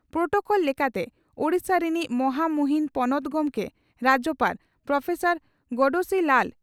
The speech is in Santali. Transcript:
ᱯᱨᱚᱴᱚᱠᱚᱞ ᱞᱮᱠᱟᱛᱮ ᱳᱰᱤᱥᱟ ᱨᱤᱱᱤᱡ ᱢᱚᱦᱟᱢᱩᱦᱤᱱ ᱯᱚᱱᱚᱛ ᱜᱚᱢᱠᱮ (ᱨᱟᱡᱭᱚᱯᱟᱲ) ᱯᱨᱚᱯᱷᱮᱥᱟᱨ ᱜᱚᱬᱮᱥᱤ ᱞᱟᱞ